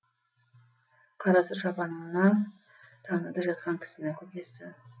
қарасұр шапанынан таныды жатқан кісіні көкесі